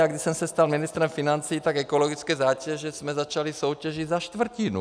Já když jsem se stal ministrem financí, tak ekologické zátěže jsme začali soutěžit za čtvrtinu.